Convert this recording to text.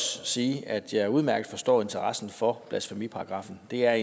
sige at jeg udmærket forstår interessen for blasfemiparagraffen det er